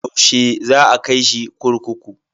Yaushe za a kai shi kurkuku?